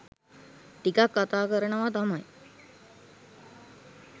ටිකක් කතා කරනවා තමයි